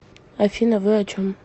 афина вы о чем